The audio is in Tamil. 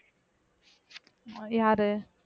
யாரு